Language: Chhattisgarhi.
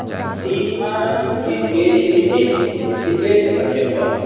ईहा क्रिकेट के खेल होथे क्रिकेट --